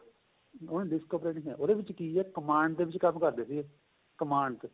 ਉਹਨੇ disk operating ਏ ਉਹਦੇ ਵਿੱਚ ਕੀ ਏ command ਦੇ ਵਿੱਚ ਕੰਮ ਕਰਦੇ ਸੀਗੇ command ਚ